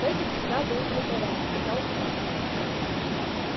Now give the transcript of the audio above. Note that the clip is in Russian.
фэтти всегда был глуповат сказал билл